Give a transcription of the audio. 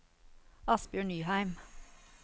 Asbjørg Nyheim